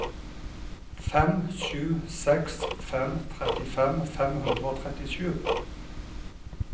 fem sju seks fem trettifem fem hundre og trettisju